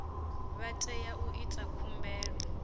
vha tea u ita khumbelo